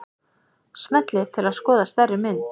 Smellið til að skoða stærri mynd.